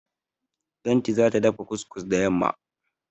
Lanti za ta dafa kus-kus da yamma.